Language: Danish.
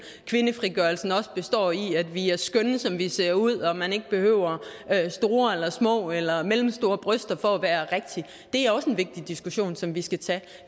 kvindefrigørelse også består i at vi er skønne som vi ser ud og at man ikke behøver store eller små eller mellemstore bryster for at være rigtig er også en vigtig diskussion som vi skal tage